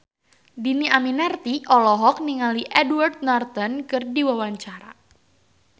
Dhini Aminarti olohok ningali Edward Norton keur diwawancara